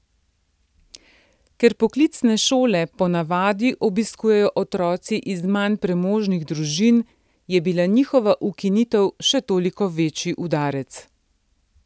Ker poklicne šole ponavadi obiskujejo otroci iz manj premožnih družin, je bila njihova ukinitev še toliko večji udarec.